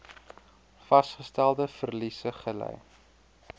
vasgestelde verliese gely